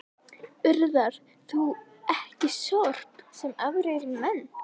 Urðar þú ekki sorp, sem aðrir menn?